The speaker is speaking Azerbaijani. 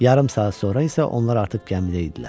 Yarım saat sonra isə onlar artıq gəmidə idilər.